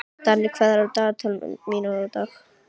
Danni, hvað er á dagatalinu mínu í dag?